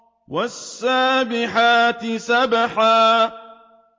وَالسَّابِحَاتِ سَبْحًا